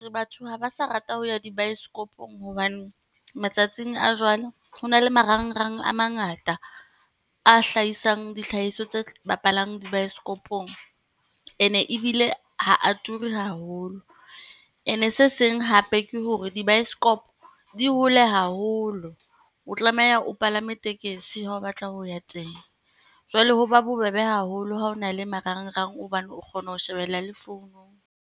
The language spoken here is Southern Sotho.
Batho ha ba sa rata ho ya dibaesekopong hobane matsatsing a jwale ho na le marangrang a mangata, a hlahisang dihlahiswa tse bapalang di baesekopong. Ene ebile ha a turi haholo, ene se seng hape ke hore dibaesekopo di hole haholo. O tlameha o palame tekesi ha o batla ho ya teng. Jwale ho ba bobebe haholo ha o na le marangrang hobane o kgona ho shebella le founung.